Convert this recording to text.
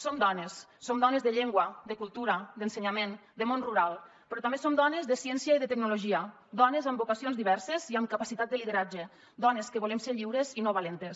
som dones som dones de llengua de cultura d’ensenyament de món rural però també som dones de ciència i de tecnologia dones amb vocacions diverses i amb capacitat de lideratge dones que volem ser lliures i no valentes